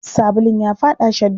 Sabulun ya faɗa shadda.